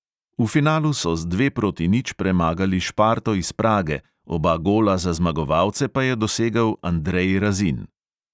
V finalu so z dve proti nič premagali šparto iz prage, oba gola za zmagovalce pa je dosegel andrej razin.